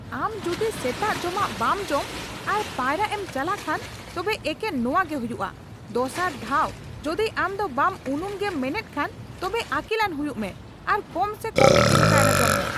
ᱟᱢ ᱫᱚ ᱡᱩᱫᱤ ᱥᱮᱛᱟᱜ ᱡᱚᱢᱟᱜ ᱵᱟᱢ ᱡᱚᱢ ᱟᱨ ᱯᱟᱭᱨᱟᱜ ᱮᱢ ᱪᱟᱞᱟᱜ ᱠᱷᱟᱱ ᱛᱚᱵᱮ ᱮᱠᱮᱱ ᱱᱚᱣᱟ ᱜᱮ ᱦᱩᱭᱩᱜᱼᱟ ᱾ ᱫᱚᱥᱟᱟᱨ ᱫᱷᱟᱣ ᱡᱩᱫᱤ ᱟᱢ ᱫᱤ ᱵᱟᱢ ᱩᱱᱩᱢᱚᱜᱮᱢ ᱢᱮᱱᱮᱫ ᱠᱷᱟᱱ ᱛᱚᱵᱮ ᱟᱹᱠᱤᱞᱟᱱ ᱦᱩᱭᱩᱜ ᱢᱮ ᱟᱨ ᱠᱚᱢ ᱥᱮ ᱠᱚᱢ ᱢᱤᱫᱴᱟᱝ ᱠᱟᱭᱨᱟ ᱡᱚᱢ ᱢᱮ ᱾